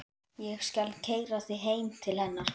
Ég skal keyra þig heim til hennar.